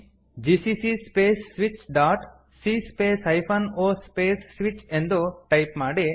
GCC space switch dot c space hyphen O space switch ಎಂದು type ಮಾಡಿ